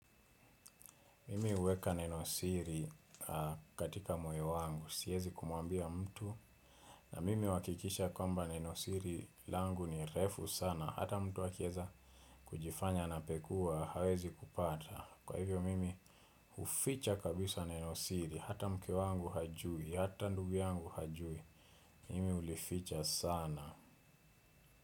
Mimi huweka nenosiri katika moyo wangu, siyezi kumwambia mtu. Na mimi huwakikisha kwamba nenosiri langu ni refu sana. Hata mtu akieza kujifanya anapekua hawezi kupata. Kwa hivyo mimi huficha kabisa nenosiri, hata mke wangu hajui, hata ndugu yangu hajui. Mimi ulificha sana.